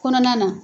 Kɔnɔna na